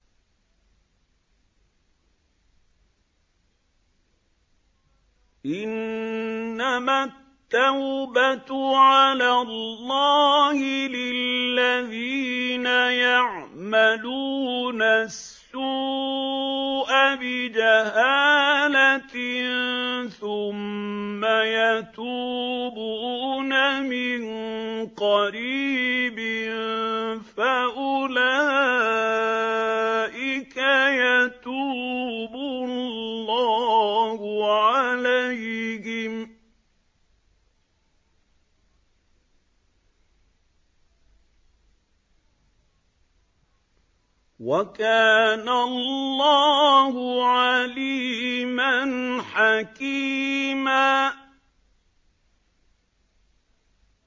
إِنَّمَا التَّوْبَةُ عَلَى اللَّهِ لِلَّذِينَ يَعْمَلُونَ السُّوءَ بِجَهَالَةٍ ثُمَّ يَتُوبُونَ مِن قَرِيبٍ فَأُولَٰئِكَ يَتُوبُ اللَّهُ عَلَيْهِمْ ۗ وَكَانَ اللَّهُ عَلِيمًا حَكِيمًا